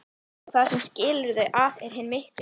Og það sem skilur þau að er hinn mikli